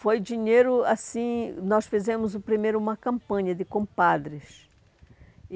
Foi dinheiro assim... Nós fizemos primeiro uma campanha de compadres.